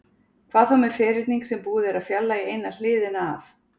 Hvað þá með ferhyrning sem búið er að fjarlægja eina hliðina af?